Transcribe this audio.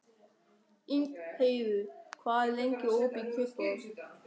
Ingheiður, hvað er lengi opið í Kjötborg?